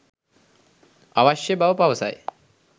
අවශ්‍ය බව පවසයි